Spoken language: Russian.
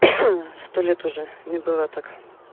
сто лет уже не было так